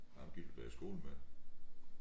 Ham gik du da i skole med